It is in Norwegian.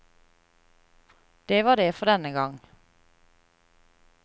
Det var det for denne gang.